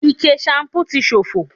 Ike ṣanpú ti ṣófo